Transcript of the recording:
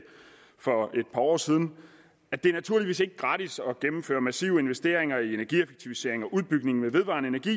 for et par år siden det er naturligvis ikke gratis at gennemføre massive investeringer i energieffektiviseringer og udbygning med vedvarende energi